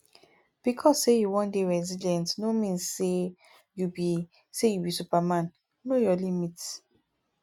because sey you wan dey resillient no mean sey you be sey you be superman know your limit